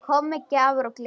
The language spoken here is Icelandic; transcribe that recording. Kom með gjafir og gleði.